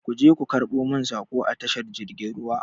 Ku je ku karɓo min saƙo a tashar jirgin ruwa!